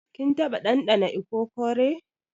Kin taba dandana ikokore?